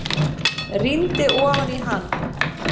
Rýndi ofan í hann.